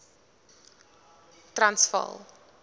transvaal